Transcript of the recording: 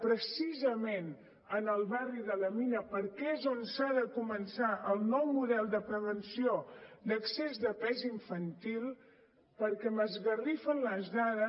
precisament al barri de la mina perquè és on s’ha de començar el nou model de prevenció d’excés de pes infantil perquè m’esgarrifen les dades